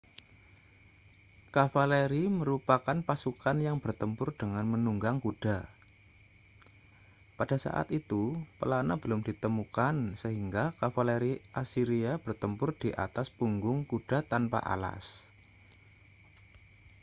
kavaleri merupakan pasukan yang bertempur dengan menunggang kuda pada saat itu pelana belum ditemukan sehingga kavaleri asiria bertempur di atas punggung kuda tanpa alas